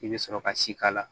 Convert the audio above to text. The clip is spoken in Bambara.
I bɛ sɔrɔ ka si k'a la